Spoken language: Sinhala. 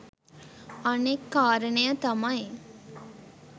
අනෙක් කාරණය තමයි